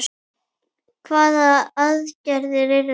Hvaða aðgerðir eru það?